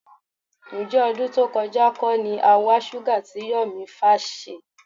Ǹjẹ́ ọdún tó kọjá kọ́ ni a wa Shuga tí Yọ̀mí Fash ṣe?